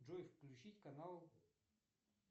джой включить канал